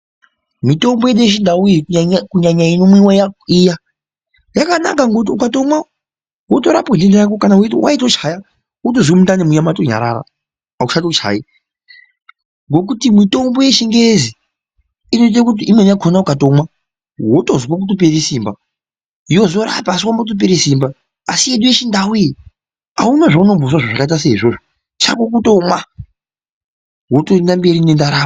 Mutombo yedu yechindau iyi, kunyanya inomwiwa iya yakanaka ngokuti ukatomwa wotorapwa denda rako kana waitochaya wotozwa mundani muya matonyarara auchatochayi. Ngokuti mutombo yechingezi inoite kuti imweni yakona ukatomwa wotozwe kutopere simba yozorapa asi wambotopera simba asi yedu yechindau iyi hauna zvaunombozwa zvakaita seizvozvo chako kutomwa wotoenda mberi nendaramo.